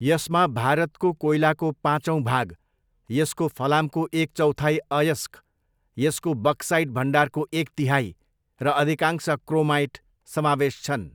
यसमा भारतको कोइलाको पाँचौँ भाग, यसको फलामको एक चौथाई अयस्क, यसको बक्साइट भण्डारको एक तिहाइ र अधिकांश क्रोमाइट समावेश छन्।